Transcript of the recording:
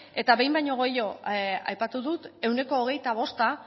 eta behin baino gehiagotan aipatu dut ehuneko hogeita bost